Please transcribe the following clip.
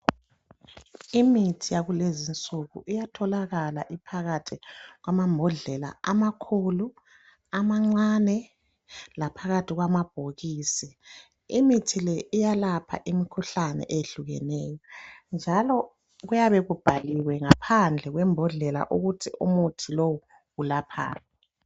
Imithi yakulezinsuku iyatholakala iphakathi kwamambodlela amakhulu, amancane laphakathi kwamabhokisi. Imithi le iyalapha imikhuhlane eyehlukeneyo njalo kuyabe kubhaliwe ngaphandle kwembodlela ukuthi umuntu lowu ulaphani.